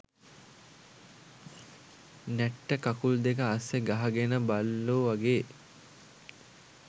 නැට්ට කකුල් දෙක අස්සෙ ගහගෙන බල්ලො වගේ